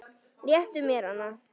Réttu mér hana